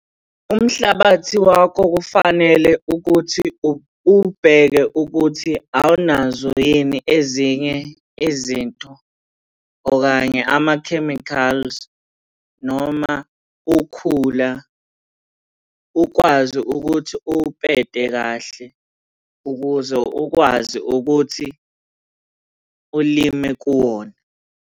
Umhlabathi wakho kufanele ukuthi uwubheke ukuthi awunazo yini ezinye izinto okanye ama-chemicals noma ukhula. Ukwazi ukuthi uwupete kahle ukuze ukwazi ukuthi ulime kuwona.